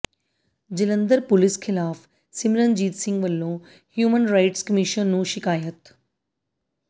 Jalandhar police ਖ਼ਿਲਾਫ਼ ਸਿਮਰਨਜੀਤ ਸਿੰਘ ਵੱਲੋਂ human rights commission ਨੂੰ ਸ਼ਿਕਾਇਤ